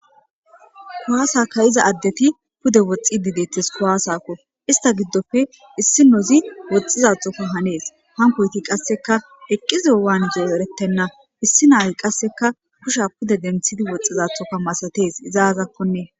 Kuwaasaka iza addeti pude woxxi didetes kuwaasakko ista giddofe issi nozi woxxizathoka hanees hankoyti qasseka eqqizo waan zoorettenna issi naayi qasseka kusha pude denthidi woxxizathoka masatees izaazakkoee.